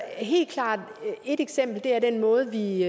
er helt klart den måde vi i